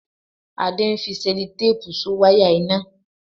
Adé ń fi Sẹlotéèpù So wáyà iná